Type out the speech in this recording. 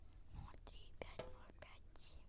ноль три пять ноль пять семь